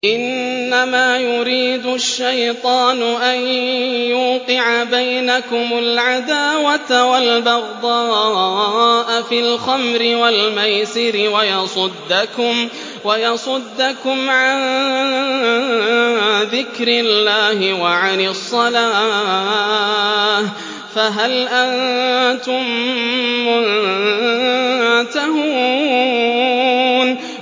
إِنَّمَا يُرِيدُ الشَّيْطَانُ أَن يُوقِعَ بَيْنَكُمُ الْعَدَاوَةَ وَالْبَغْضَاءَ فِي الْخَمْرِ وَالْمَيْسِرِ وَيَصُدَّكُمْ عَن ذِكْرِ اللَّهِ وَعَنِ الصَّلَاةِ ۖ فَهَلْ أَنتُم مُّنتَهُونَ